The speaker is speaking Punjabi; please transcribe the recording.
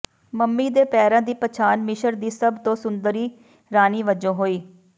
ਮੰਮੀ ਦੇ ਪੈਰਾਂ ਦੀ ਪਛਾਣ ਮਿਸ਼ਰ ਦੀ ਸਭ ਤੋਂ ਸੁੰਦਰੀ ਰਾਣੀ ਵੱਜੋਂ ਹੋਈ